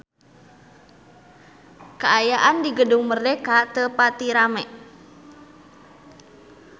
Kaayaan di Gedung Merdeka teu pati rame